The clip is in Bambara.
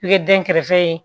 I ye den kɛrɛfɛ ye